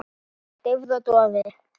Deyfð og doði.